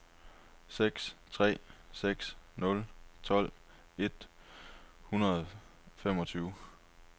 seks tre seks nul tolv et hundrede og femogtyve